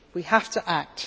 We have to act.